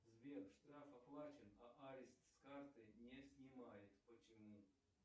сбер штраф оплачен а арест с карты не снимает почему